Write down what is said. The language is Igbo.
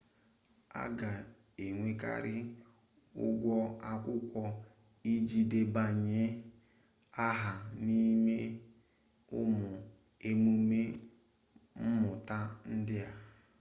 a ga-enwekarị ụgwọ akwụkwọ iji debanye aha n'ime ụmụ emume mmụta ndị a